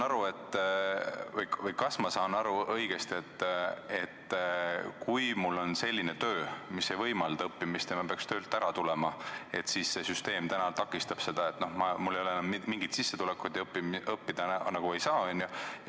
Kas ma saan õigesti aru, et kui mul on selline töö, mis ei võimalda õppimist ja ma peaks töölt ära tulema, siis see süsteem täna takistab seda – mul ei ole enam mingit sissetulekut ja õppida ei saa?